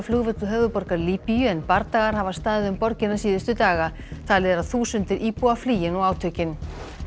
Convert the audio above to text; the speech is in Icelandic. flugvöll höfuðborgar Líbíu en bardagar hafa staðið um borgina síðustu daga talið er að þúsundir íbúa flýi nú átökin